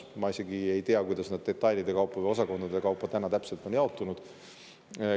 Ma isegi ei tea, kuidas nad osakondade kaupa täpselt on jaotunud.